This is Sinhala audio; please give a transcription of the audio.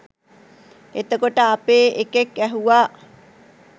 එතකොට අපේ එකෙක් ඇහුවා